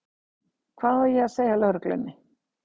Hvað á ég að segja lögreglunni?